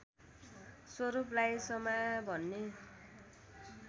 स्वरूपलाई समा भन्ने